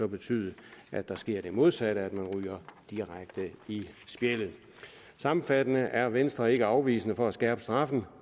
betyde at der sker det modsatte nemlig at man ryger direkte i spjældet sammenfattende er venstre ikke afvisende over for at skærpe straffen